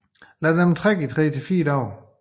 Lad dem trække i tre til fire dage